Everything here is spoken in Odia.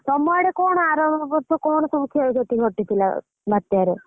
ତମ ଆଡେ କଣ ଆର ବର୍ଷ କଣ ସବୁ କ୍ଷୟ କ୍ଷତି ଘଟିଥିଲା ବାତ୍ୟା ରେ?